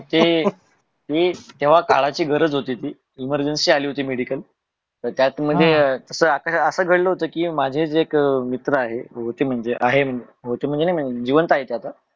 तेव्हा काळाची गरज होती ती emrgency आली होती medical त्यात अस गण होत कि माझे ते एक मित्र आहे होत म्हणजे जिवंत आहे ते आता